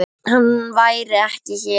Hann væri ekki hér.